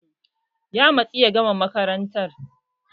Ya matsu ya gama makaranta firamare